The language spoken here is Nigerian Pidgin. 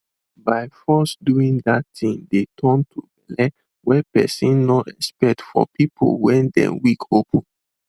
by force doing that thing de turn to belle were persin nor expect for people wey dey weak open